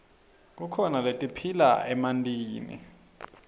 kukhona letiphila emantini